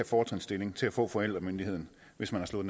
fortrinsstilling til at få forældremyndigheden hvis man har slået